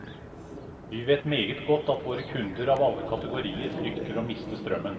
Vi vet meget godt at våre kunder av alle kategorier frykter å miste strømmen.